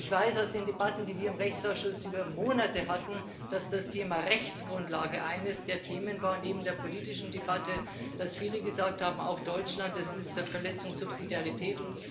Ich weiß aus den Debatten, die wir im Rechtsausschuss über Monate hatten, dass das Thema Rechtsgrundlage eines der Themen war neben der politischen Debatte dass viele gesagt haben auch Deutschland das ist eine Verletzung der Subsidiarität.